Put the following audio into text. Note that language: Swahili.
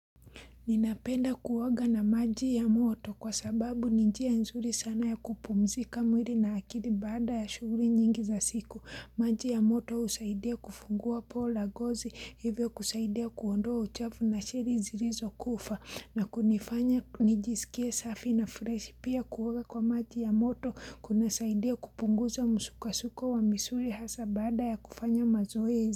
Ninapenda kuoga na maji ya moto kwa sababu nijia nzuri sana ya kupumzika mwiri na akiri bada ya shughuli nyingi za siku. Maji ya moto husaidia kufungua pola gozi, hivyo kusaidia kuondoa uchafu na shiri zilizo kufa. Na kunifanya nijisikie safi na fresh pia kuoga kwa maji ya moto kuna saidia kupunguza musukasuko wa misuli hasa bada ya kufanya mazoezi.